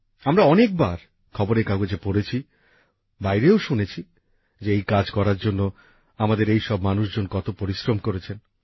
আমরা অনেক বার খবরের কাগজে পড়েছি বাইরেও শুনেছি যে এই কাজ করার জন্য আমাদের এই সব মানুষজন কত পরিশ্রম করেছেন